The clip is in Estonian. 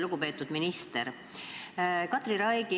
Lugupeetud minister!